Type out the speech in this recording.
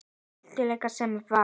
Víglund sem var.